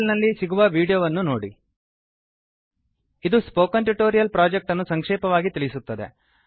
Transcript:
httpspoken tutorialorgWhat is a spoken tutorial ಇದು spoken tutorial project ಅನ್ನು ಸಂಕ್ಷೇಪವಾಗಿ ತಿಳಿಸುತ್ತದೆ